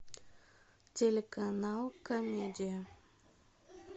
телеканал комедия